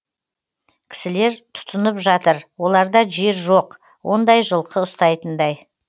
кісілер түтынып жатыр оларда жер жоқ ондай жылқы ұстайтындай